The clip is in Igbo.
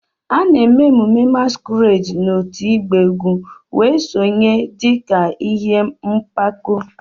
A na-eme emume masquerades na otu ịgba egwu wee sonye dị ka ihe mpako.